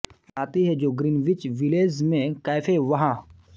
गाती है जो ग्रीनविच विलेज में कैफे व्हा